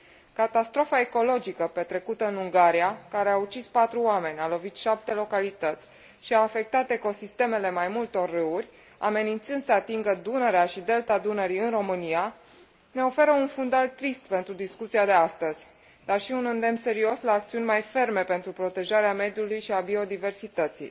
Catastrofa ecologică petrecută în Ungaria, care a ucis patru oameni, a lovit șapte localități și a afectat ecosistemele mai multor râuri, amenințând să atingă Dunărea și Delta Dunării în România, ne oferă un fundal trist pentru discuția de astăzi, dar și un îndemn serios la acțiuni mai ferme pentru protejarea mediului și a biodiversității.